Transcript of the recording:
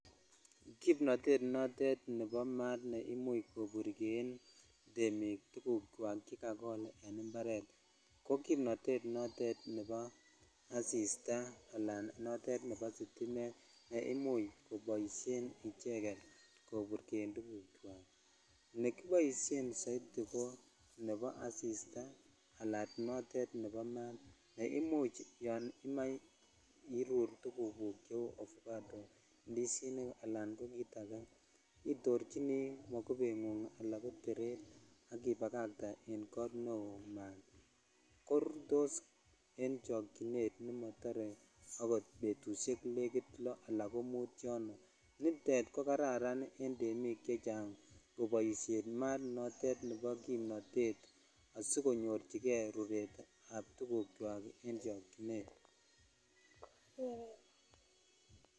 Kimnotet notet nebo maat ne imuch koburjen temik tuguk chwak chekakol en imoaret ko kimnotet notet nebo asistaa alan notet nebo sitimet ne imuch koboishen icheget koburjen tuguk chhwak ne kiboisen soiti ko nebo asistaaala notet nebo maat ne imuch yon imoe irur tukuk guk ceu avocado ,indizinik alan kit akeitorchini makubengung ala koteret ak ipakatee en kot neo maat korutos en chokchinet nemotor akot betushek negit loo aka ko mut yono nitet ko kararan en temik chechang koboishen maat notet nebo kimnotet asikonyor kei ruret ab tuguk chwak en chokchinet